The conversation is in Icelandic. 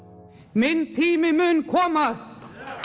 minn tími mun koma